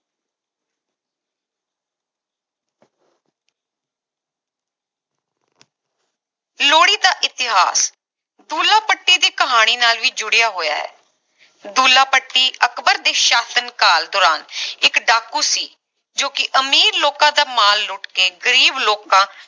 ਲੋਹੜੀ ਦਾ ਇਤਿਹਾਸ ਦੁੱਲਾ ਭੱਟੀ ਦੀ ਕਹਾਣੀ ਨਾਲ ਵੀ ਜੁੜਿਆ ਹੋਇਆ ਹੈ ਦੁੱਲਾ ਭੱਟੀ ਅਕਬਰ ਦੇ ਸਾਸ਼ਨ ਕਾਲ ਦੌਰਾਨ ਇਕ ਡਾਕੂ ਸੀ ਜੋ ਕਿ ਅਮੀਰ ਲੋਕਾਂ ਦਾ ਮਾਲ ਲੁੱਟ ਕੇ ਗਰੀਬ ਲੋਕਾਂ